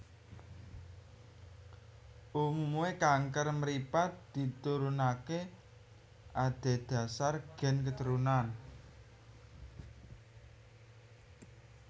Umume kanker mripat diturunake adhedhasar gen keturunan